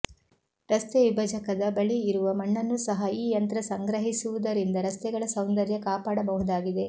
ರಸ್ತೆ ವಿಭಜಕದ ಬಳಿ ಇರುವ ಮಣ್ಣನ್ನೂ ಸಹ ಈ ಯಂತ್ರ ಸಂಗ್ರಹಿಸುವುದರಿಂದ ರಸ್ತೆಗಳ ಸೌಂದರ್ಯ ಕಾಪಾಡಬಹುದಾಗಿದೆ